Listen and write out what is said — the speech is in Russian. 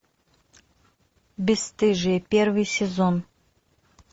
бесстыжие первый сезон